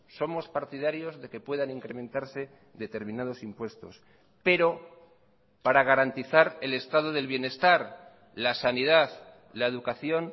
somos partidarios de que puedan incrementarse determinados impuestos pero para garantizar el estado del bienestar la sanidad la educación